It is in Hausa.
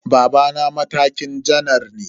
Babana na matakin janar ne.